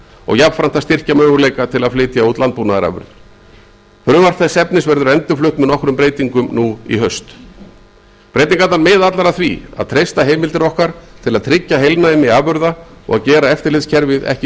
og jafnframt að styrkja möguleika til að flytja út landbúnaðarafurðir frumvarp þess efnis verður endurflutt með nokkrum breytingum nú í haust breytingarnar miða allar að því að treysta heimildir okkar til að tryggja heilnæmi afurða og að gera eftirlitskerfið ekki